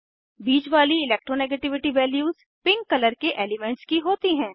बीच वाली electronegativity values pink colour के elements की होती हैं